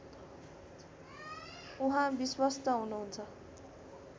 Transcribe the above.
उहाँ विश्वस्त हुनुहुन्छ